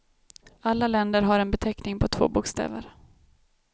Alla länder har en beteckning på två bokstäver.